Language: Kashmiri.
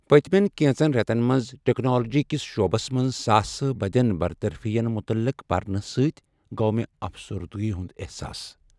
پٔتۍمین کینژن ریتن منز ٹکنالوجی کس شعبس منز ساسہٕ بدین برطرفی ین متعلق پرنہٕ سۭتۍ گوٚو مےٚ افسردگی ہنٛد احساس۔